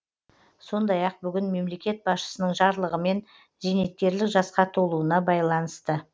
сондай ақ бүгін мемлекет басшысының жарлығымен зейнеткерлік жасқа толуына байланысты